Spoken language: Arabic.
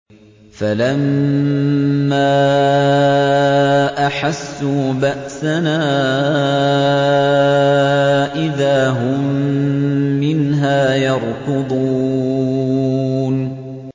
فَلَمَّا أَحَسُّوا بَأْسَنَا إِذَا هُم مِّنْهَا يَرْكُضُونَ